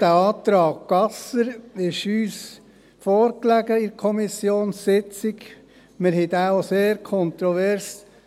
Der Antrag Gasser lag uns an der Kommissionssitzung vor, und wir diskutierten ihn sehr kontrovers.